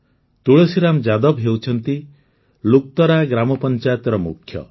ତୁଳସୀରାମ ଯାଦବ ହେଉଛନ୍ତି ଲୁକତରା ଗ୍ରାମପଂଚାୟତର ମୁଖ୍ୟ